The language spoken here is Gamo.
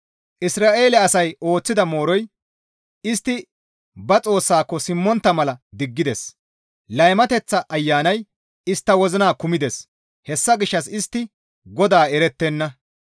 Isra7eele asay ooththida mooroy istti ba Xoossaako simmontta mala diggides. Laymateththa ayanay istta wozina kumides. Hessa gishshas istti GODAA erettenna.